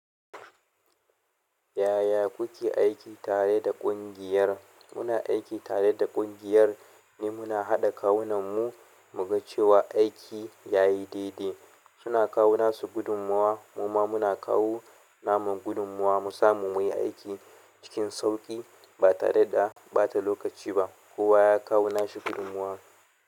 Yaya kuke aiki tare da ƙungiyar? Muna aiki tare da ƙungiyar ne muna haɗa kawunan mu, mu ga cewa aiki yayi daidai. Suna kawo nasu gudunmuwa, muma muna kawo namu gudunmuwa. Mu samu muyi aiki cikin sauƙi ba tareda bata lokaci ba kowa ya kawo nashi gudunmuwa.